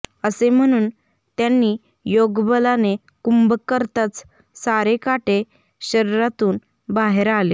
असे म्हणून त्यांनी योग बलानी कुंभक करताच सारे काटे शरीरातून बाहेर आले